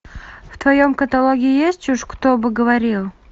в твоем каталоге есть уж кто бы говорил